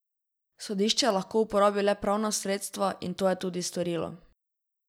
Sodišče lahko uporabi le pravna sredstva in je to tudi storilo.